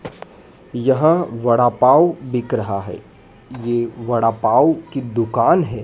यहां वड़ा पाव बिक रहा है यह वड़ा पाव की दुकान है।